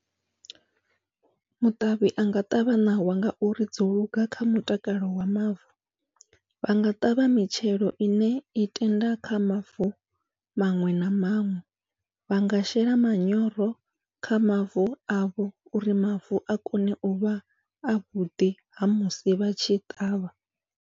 Muṱavhi anga ṱavha ṋawa ngauri dzo luga kha mutakalo wa mavu, vhanga ṱavha mitshelo ine i tenda kha mavu maṅwe na maṅwe vhanga shela manyoro kha mavu avho uri mavu a kone uvha avhuḓi ha musi vha tshi ṱavha.